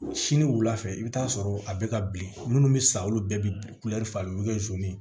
Sini wulafɛ i bɛ taa sɔrɔ a bɛ ka bilen minnu bɛ sa olu bɛɛ bɛ fa olu bɛ